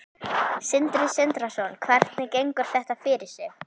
Sindri Sindrason: Hvernig gengur þetta fyrir sig?